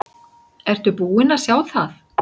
Ertu búinn að sjá það?